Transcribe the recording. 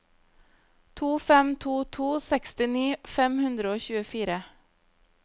to fem to to sekstini fem hundre og tjuefire